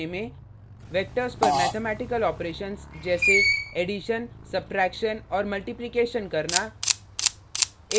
vectors पर mathematical operations जैसेएडिशन subtraction और मल्टीप्लीकेशन करना